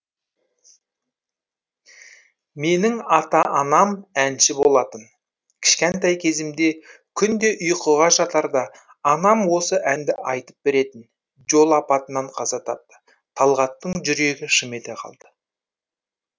менің ата анам әнші болатын кішкентай кезімде күнде ұйқыға жатарда анам осы әнді айтып беретін жол апатынан қаза тапты талғаттың жүрегі шым ете қалды